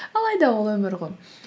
алайда ол өмір ғой